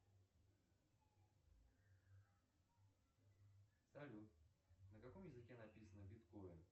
салют на каком языке написано биткоин